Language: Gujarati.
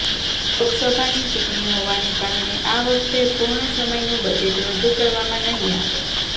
લોકસભાની ચૂંટણી હોવાને કારણે આ વખતે પૂર્ણ સમયનું બજેટ રજૂ કરવામાં નહીં આવે